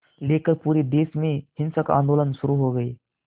लेकर पूरे देश में हिंसक आंदोलन शुरू हो गए